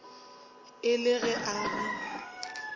e le ge a re